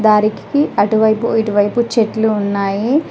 దారికి అటువైపు ఇటువైపు చెట్లు ఉన్నాయి.